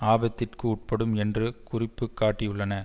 ஆபத்திற்கு உட்படும் என்று குறிப்பு காட்டியுள்ளன